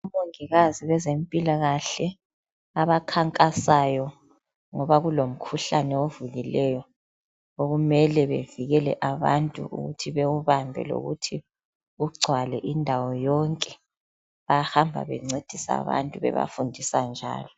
Omongikazi bezempilakahle abakhankasayo ngoba kulomkhuhlane ovukileyo okumele bevikele abantu ukuthi bawubambe lokuthi ugcwale indawo yonke bayahamba bencedisa abantu bebafundisa njalo.